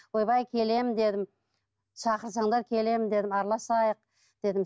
ойбай келемін дедім шақырсаңдар келемін дедім араласайық дедім